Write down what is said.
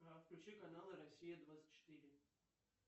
включи каналы россия двадцать четыре